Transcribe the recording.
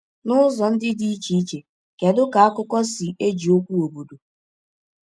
N’ụzọ ndị dị iche iche, kedu ka akụkọ si eji okwu “obodo”?